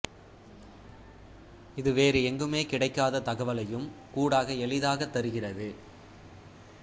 இது வேறு எங்குமே கிடைக்காத தகவலையும் கூடாக எளிதாகத் தருகிறது